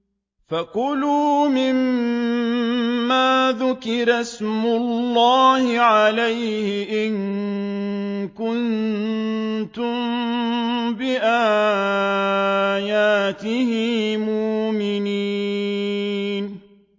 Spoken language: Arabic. فَكُلُوا مِمَّا ذُكِرَ اسْمُ اللَّهِ عَلَيْهِ إِن كُنتُم بِآيَاتِهِ مُؤْمِنِينَ